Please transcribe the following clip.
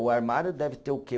O armário deve ter o quê?